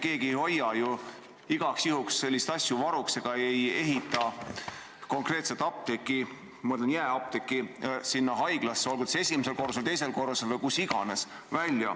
Keegi ei hoia ju igaks juhuks selliseid asju varuks ega ehita konkreetset apteeki – ma mõtlen jaeapteeki – haiglasse, olgu esimesele korrusele, teisele korrusele või kuhu iganes.